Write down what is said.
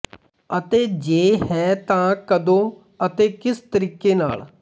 ਅਤੇ ਜੇ ਹੈ ਤਾਂ ਕਦੋਂ ਅਤੇ ਕਿਸ ਤਰੀਕੇ ਨਾਲ